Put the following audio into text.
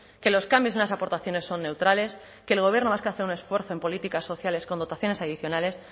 que los cambios en las aportaciones son neutrales que el gobierno vasco hace un esfuerzo en políticas sociales con dotaciones adicionales